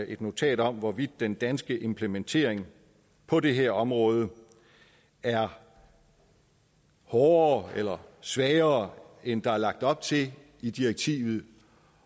et notat om hvorvidt den danske implementering på det her område er hårdere eller svagere end der er lagt op til i direktivet